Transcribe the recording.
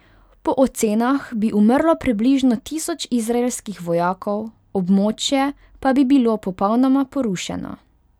Po ocenah bi umrlo približno tisoč izraelskih vojakov, območje pa bi bilo popolnoma porušeno.